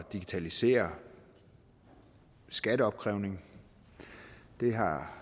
digitalisere skatteopkrævningen og det har